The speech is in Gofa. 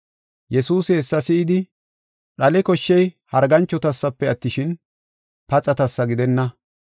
Yesuusi hessa si7idi, “Dhale koshshey harganchotasafe attishin, paxatasa gidenna.